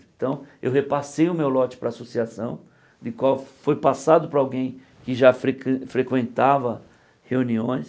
Então, eu repassei o meu lote para associação, em qual foi passado para alguém que já frequen frequentava reuniões.